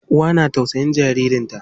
Uwa na tausayin jaririn ta.